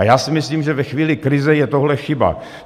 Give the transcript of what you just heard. A já si myslím, že ve chvíli krize je tohle chyba.